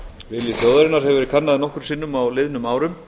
vilji þjóðarinnar hefur verið kannaður nokkrum sinnum á liðnum árum